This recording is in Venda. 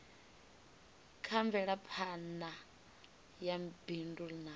kha mvelaphana ya bindu na